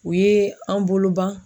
U ye an bolo ban.